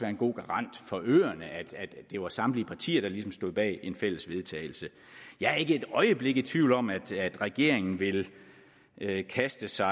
en god garant for øerne at det var samtlige partier der ligesom stod bag en fælles vedtagelse jeg er ikke et øjeblik i tvivl om at regeringen vil kaste sig